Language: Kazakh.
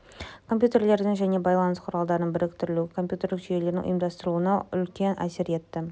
компьютерлердің және байланыс құралдарының біріктірілуі компьютерлік жүйелердің ұйымдастырылуына үлкен әсер етті